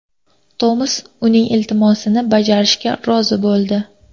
Tomas uning iltimosini bajarishga rozi bo‘ldi.